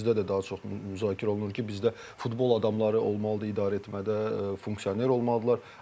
Bİzdə də daha çox müzakirə olunur ki, bizdə futbol adamları olmalıdır idarə etmədə, funksioner olmalıdırlar.